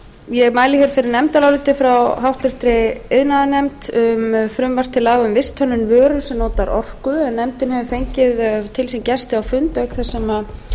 ég mæli hér fyrir nefndaráliti frá háttvirtri iðnaðarnefnd um frumvarp til laga um visthönnun vöru sem notar orku en nefndin hefur fengið til sín gesti á fund auk þess sem